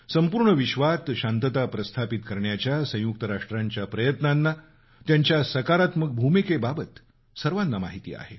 संपूर्ण विश्वात शांतता स्थापित करण्याच्या संयुक्त राष्ट्रांच्या प्रयत्नांना त्यांच्या सकारात्मक भूमिकेबाबत सर्वाना माहिती आहे